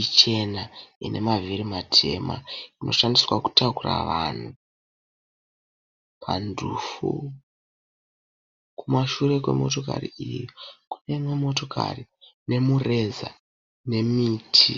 ichena ine mavhiri matema. Inoshandiswa kutakura vanhu pandufu. Kumashure kwemotikari iyi kune imwe motokari, nemureza nemiti.